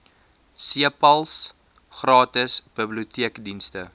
cpals gratis biblioteekdienste